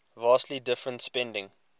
vastly different spending